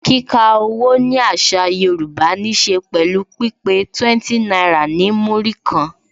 Kika owó ni àṣà Yorùbá ní se pẹ̀lú pípé 20 náírà ní Múrí kan